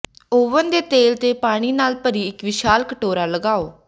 oven ਦੇ ਤਲ ਤੇ ਪਾਣੀ ਨਾਲ ਭਰੀ ਇੱਕ ਵਿਸ਼ਾਲ ਕਟੋਰਾ ਲਗਾਓ